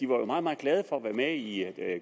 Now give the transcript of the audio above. var meget meget glad for at være med i